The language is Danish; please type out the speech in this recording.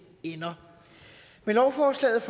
ender med lovforslaget